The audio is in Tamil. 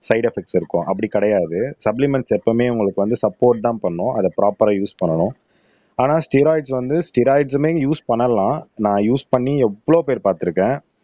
சைடு எபக்ட்ஸ் இருக்கும் அப்படி கிடையாது சப்ளிமெண்ட்ஸ் எப்பவுமே உங்களுக்கு வந்து சப்போர்ட் தான் பண்ணும் அதை ப்ரொபரா யூஸ் பண்ணணும் ஆனா ஸ்டெரொய்ட்ஸ் வந்து ஸ்டெரொய்ட்ஸ்மே யூஸ் பண்ணலாம் நான் யூஸ் பண்ணி எவ்ளோ பேர் பார்த்திருக்கேன்